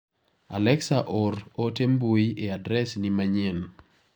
Alexa or ote mbui e adres ni manyien .